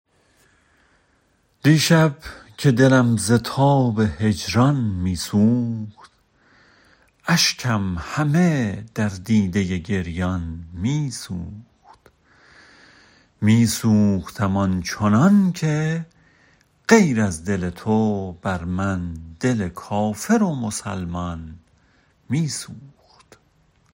دیشب که دلم ز تاب هجران می سوخت اشکم همه در دیده گریان می سوخت می سوختم آنچنان که غیر از دل تو بر من دل کافر و مسلمان می سوخت